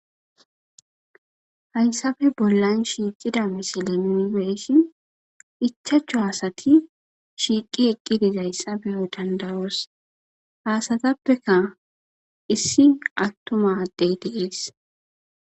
Hayssafe bollan shiiqida misile nuni be'ishin ichachu asati shiiqi eqqi dizayssa beyo danda'os ha asatappeka issi attuma addey dees.